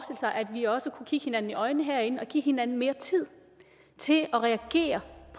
vi også kunne kigge hinanden i øjnene herinde og give hinanden mere tid til at reagere